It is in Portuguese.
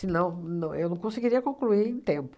não eu não conseguiria concluir em tempo.